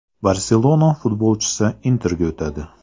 “Barselona” futbolchisi “Inter”ga o‘tadi.